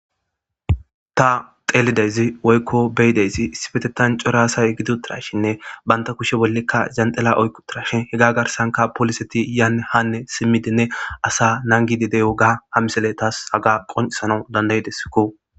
Ta xeeliidayisi woyikko ta beidayisi issippetethani cora asa gidi uttidashshenne banitappe koshiya bola janixila oyiki uttidashshenne he janixila garisani poliseti yanne haa simidinne asa nanigidi diyoggaa ha misileyi tasi haga qonicisidesikko